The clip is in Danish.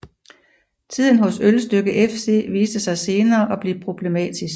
Tiden hos Ølstykke FC viste sig senere at blive problematisk